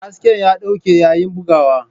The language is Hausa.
Hasken ya dauke yayin bugawa.